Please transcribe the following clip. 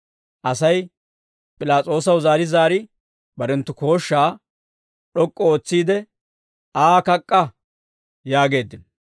Asay P'ilaas'oosaw zaari zaari barenttu kooshshaa d'ok'k'u ootsiide, «Aa kak'k'a» yaageeddino.